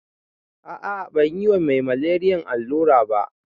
Ah ah banyi ma me maleriyan allura ba